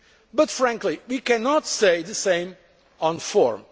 But frankly, we cannot say the same